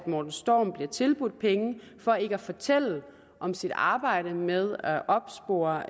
morten storm bliver tilbudt penge for ikke at fortælle om sit arbejde med at opspore